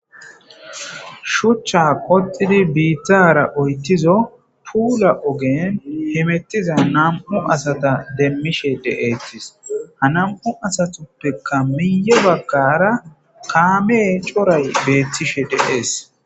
Shuchcha qoxxidi biittara oyththizo puula ogge hemetiza nam'u asata demashe de'aysi ha nam'u asatappeka miye baggara kaamey coray beetishe de'ess.